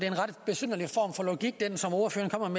ordføreren